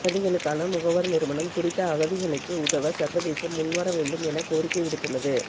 அகதிகளுக்கான முகவர் நிறுவனம் குறித்த அகதிகளுக்கு உதவ சர்வதேசம் முன்வர வேண்டும் எனக் கோரிக்கை விடுத்துள்ளது